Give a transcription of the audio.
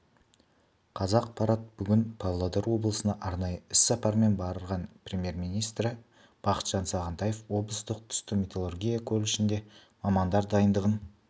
қазақпарат бүгін павлодар облысына арнайы іс-сапармен барған премьер-министрі бақытжан сағынтаев облыстық түсті металлургия колледжінде мамандар дайындығын